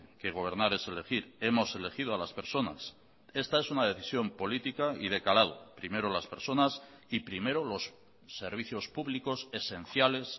que gobernar es elegir hemos elegido a las personas esta es una decisión política y de calado primero las personas y primero los servicios públicos esenciales